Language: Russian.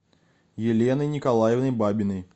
еленой николаевной бабиной